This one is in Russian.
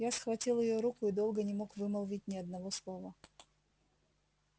я схватил её руку и долго не мог вымолвить ни одного слова